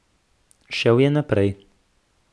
Šel je naprej.